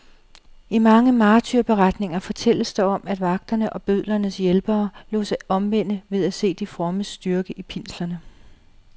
I mange martyrberetninger fortælles der om, at vagterne og bødlernes hjælpere lod sig omvende ved at se de frommes styrke i pinslerne.